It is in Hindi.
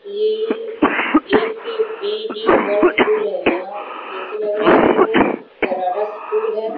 ये ए_के_बी_डी वर्ल्ड स्कूल है या जैसे लग रहा है कि वो कर्राटा स्कूल है।